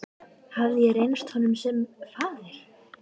Hafði ég reynst honum sem faðir?